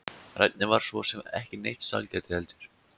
Regnið var svo sem ekki neitt sælgæti heldur.